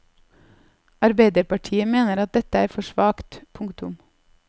Arbeiderpartiet mener at dette er for svakt. punktum